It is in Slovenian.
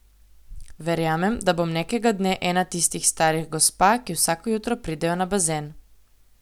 Verjamem, da bom nekega dne ena tistih starih gospa, ki vsako jutro pridejo na bazen.